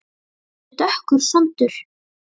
Þetta er dökkur sandur.